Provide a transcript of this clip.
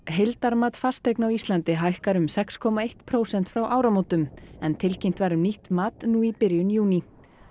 heildarmat fasteigna á Íslandi hækkar um sex komma eitt prósent frá áramótum en tilkynnt var um nýtt mat nú í byrjun júní